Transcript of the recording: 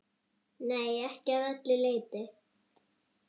Nei, ekki að öllu leyti.